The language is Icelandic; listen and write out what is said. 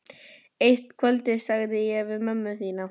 Eitt kvöldið sagði ég við mömmu þína: